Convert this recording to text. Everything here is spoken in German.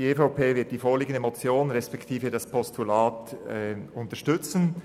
Die EVP wird die vorliegende Motion respektive das Postulat unterstützen.